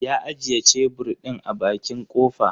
Ya ajiye shebur ɗin a bakin kofa.